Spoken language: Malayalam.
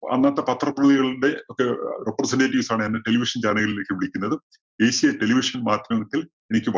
അന്നത്തെ പത്രപ്രതിധികളുടെ ഒക്കെ representatives ആണ് എന്നെ television channel കളിലേക്ക് വിളിക്കുന്നത്. ഏഷ്യ television മാധ്യമത്തില്‍ എനിക്ക് വ~